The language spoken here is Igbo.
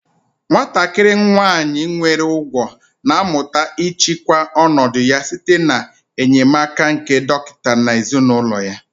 Nwatakịrị nwanyị nwere ụgwọ̀ na-amụta ịchịkwa ọnọdụ ya site n'enyemaka nke dọkịta na ezinụlọ ya